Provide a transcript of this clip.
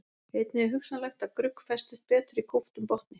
einnig er hugsanlegt að grugg festist betur í kúptum botni